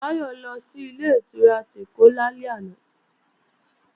Táyọ̀ lọ sí Ilé-ìtura tèkó lálẹ́ àná